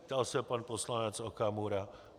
ptal se pan poslanec Okamura.